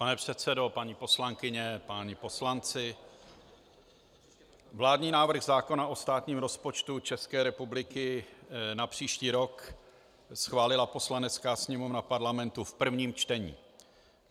Pane předsedo, paní poslankyně, páni poslanci, vládní návrh zákona o státním rozpočtu České republiky na příští rok schválila Poslanecká sněmovna Parlamentu v prvém čtení.